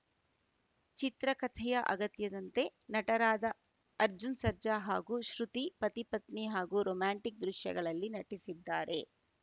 ಚಿತ್ರಕಥೆಯ ಅಗತ್ಯದಂತೆ ನಟರಾದ ಅರ್ಜುನ್‌ ಸರ್ಜಾ ಹಾಗೂ ಶ್ರುತಿ ಪತಿಪತ್ನಿ ಹಾಗೂ ರೋಮ್ಯಾಂಟಿಕ್‌ ದೃಶ್ಯಗಳಲ್ಲಿ ನಟಿಸಿದ್ದಾರೆ